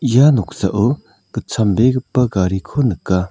ia noksao gitchambegipa gariko nika.